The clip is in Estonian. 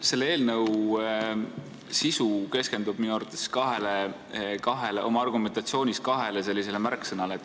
Selle eelnõu koostajad keskenduvad oma argumentatsioonis minu arvates kahele märksõnale.